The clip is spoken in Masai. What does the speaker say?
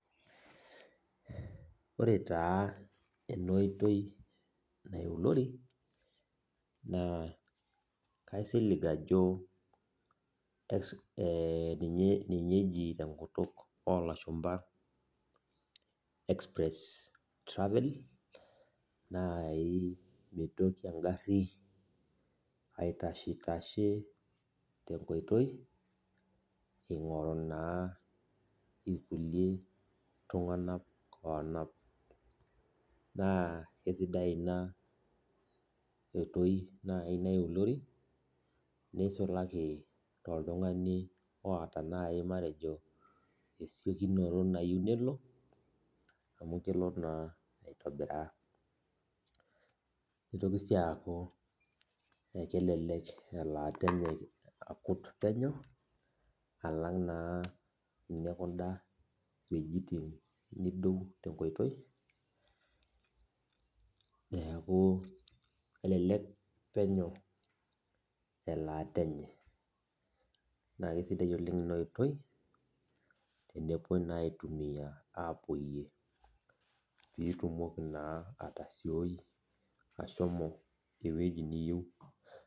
Ore taa enoitoi naulori na kaisilig ajo ninye eji tenkutuk olashumba express travelling mitoki engari aitashetashe tenkoitoi ingoru na Kulie tunganak tenkoitoi neisulaki toltungani matejo nai oata esiokinoto na nitoki si aku kelelek elaata enye akut penyo alang na tenintashe neaku elelek penyo elaata enye na kesidai na pitumoki atasioi ashomo ewueji niyieu.